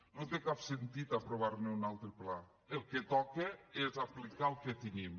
no té cap sentit aprovar ne un altre pla el que toca és aplicar el que tenim